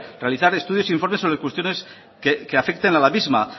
realizar estudios e informes sobre cuestiones que afecten a la misma